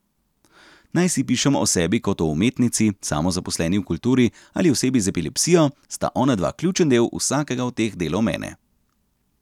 Najsi pišem o sebi kot o umetnici, samozaposleni v kulturi ali osebi z epilepsijo, sta onadva ključen del vsakega od teh delov mene.